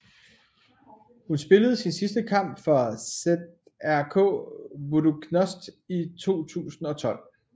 Hun spillede sin sidste kamp for ŽRK Budućnost i 2012